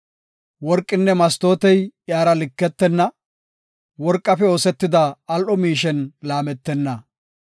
Worqinne mastootey iyara liketenna; worqafe oosetida al7o miishen laametenna.